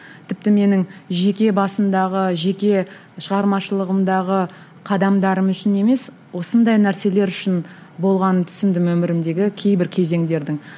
тіпті менің жеке басымдағы жеке шығармашылығымдағы қадамдарым үшін емес осындай нәрселер үшін болғанын түсіндім өмірімдегі кейбір кезеңдердің